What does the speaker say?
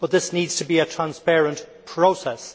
But this needs to be a transparent process.